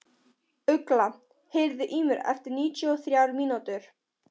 Ugla, heyrðu í mér eftir níutíu og þrjár mínútur.